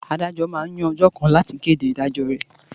Àdájò mà n yàn òjò kàn làtí kédé idájò rè